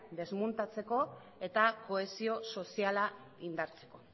desmuntatzeko eta kohesio soziala indartzeko